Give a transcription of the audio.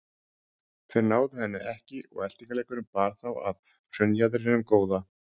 Þeir náðu henni ekki og eltingaleikurinn bar þá að hraunjaðrinum góða.